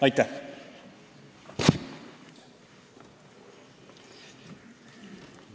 Aitäh!